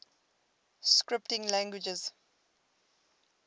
scripting languages